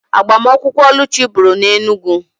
Agbamakwụkwọ Oluchi bụrụ na Enugwu